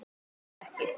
Samt ekki.